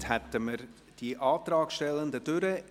Somit sind wir mit den Antragstellenden durch.